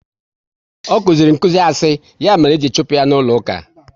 Ọ kụziri nkụzi asị, ya mere e ji chụpụ ya n'ụlọ uka